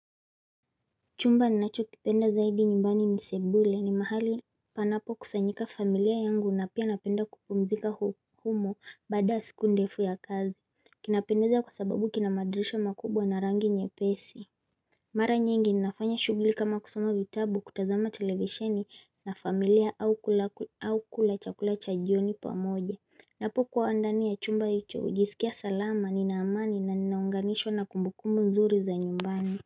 Chumba ninachokipenda zaidi nyumbani ni sebule ni mahali panapokusanyika familia yangu na pia napenda kupumzika humo baada ya siku ndefu ya kazi kinapendeza kwa sababu kina madirisha makubwa na rangi nyepesi Mara nyingi nafanya shugli kama kusoma vitabu kutazama televesheni na familia au kula chakula cha jioni pamoja Napokuwa ndani ya chumba hicho hujisikia salama nina amani na ninaunganishwa na kumbukumbu nzuri za nyumbani.